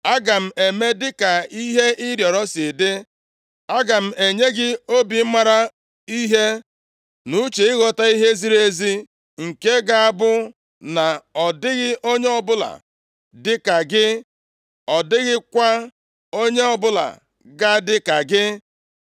Aga m eme dịka ihe ị rịọrọ si dị. Aga m enye gị obi maara ihe na uche ịghọta ihe ziri ezi, nke ga-abụ na ọ dịghị onye ọbụla dịka gị, ọ dịghịkwa onye ọbụla ga-adị ka gị.